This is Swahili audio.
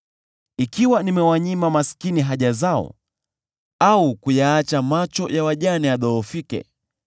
“Ikiwa nimewanyima maskini haja zao, au kuyaacha macho ya wajane yadhoofike,